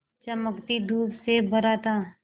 चमकती धूप से भरा था